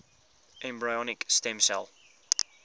embryonic stem cell